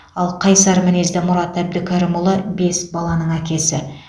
ал қайсар мінезді мұрат әбдікәрімұлы бес баланың әкесі